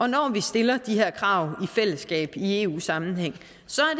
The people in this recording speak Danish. når vi stiller de her krav i fællesskab i eu sammenhæng